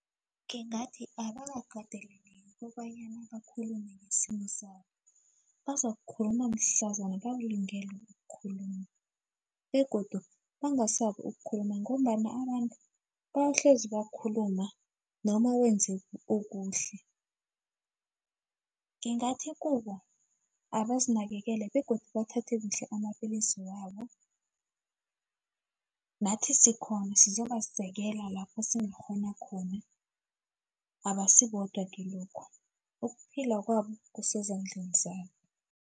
Ngingathi abakateleleki kobanyana bakhulume ngesimo sabo, bazakukhuluma mhlazana balungele ukukhuluma begodu bangasabi ukukhuluma ngombana abantu bayokuhlezi bakhuluma noma wenze okuhle. Ngingathi kubo abazinakekele begodu bathathe kuhle amapillisi wabo nathi sikhona sizobasekela lapho esingakghona abasibodwa kilokhu ukuphila kwabo kusezandleni zabo.